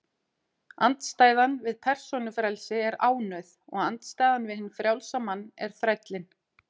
Andstæðan við persónufrelsi er ánauð, og andstæðan við hinn frjálsa mann er þrællinn.